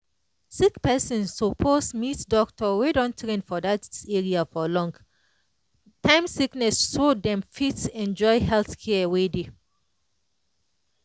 sick person suppose meet doctor wey don train for that area for long-time sickness so dem fit enjoy health care wey dey.